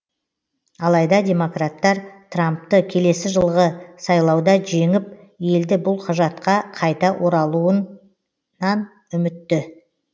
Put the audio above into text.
алайда демократтар трампты келесі жылғы сайлауда жеңіп елді бұл құжатқа қайта оралтуан үмітті